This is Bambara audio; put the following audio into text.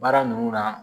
Baara ninnu na